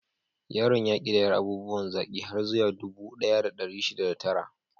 Yaron ya ƙidayar abubuwan zaki har zuwa dubu ɗaya da ɗari shida da tara.